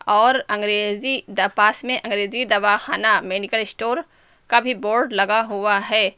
और अंग्रेजी डबास में अंग्रेजी दवा खाना मेडिकल स्टोर का भी बोर्ड लगा हुआ है।